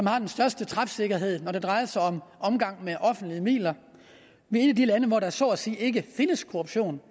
har den største træfsikkerhed når det drejer sig om omgang med offentlige midler vi er et af de lande hvor der er så at sige ikke findes korruption